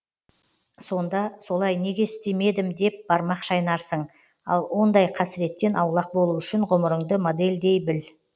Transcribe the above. сонда солай неге істемедім деп бармақ шайнарсың ал ондай қасыреттен аулақ болу үшін ғұмырыңды модельдей біл